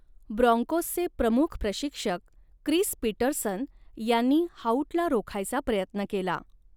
ब्राँकोसचे प्रमुख प्रशिक्षक Chris Petersen यांनी हाऊटला रोखायचा प्रयत्न केला.